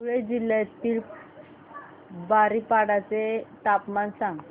धुळे जिल्ह्यातील बारीपाडा चे तापमान सांग